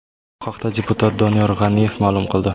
Bu haqda deputat Doniyor G‘aniyev ma’lum qildi .